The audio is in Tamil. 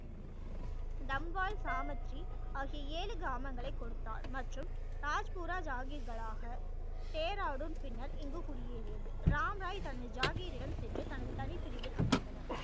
டம்வால் சாமாச்சி ஆகிய ஏழு கிராமங்களை கொடுத்தார் மற்றும் தாஜ் பூரா ஜாவ்கிலாக பின்னர் இங்கு குடி ஏறியது ராம் ராய் தனது ஜாகிர் இடம் சென்று தனது தனி பிரிவில் அமர்ந்தனர்